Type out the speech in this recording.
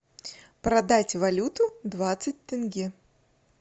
продать валюту двадцать тенге